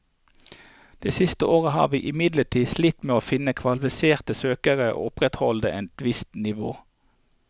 De siste årene har vi imidlertid slitt med å finne kvalifiserte søkere og opprettholde et visst nivå.